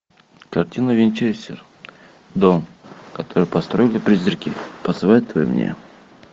картина винчестер дом который построили призраки посоветуй мне